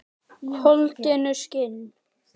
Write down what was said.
Holdinu skinn.